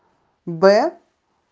бэ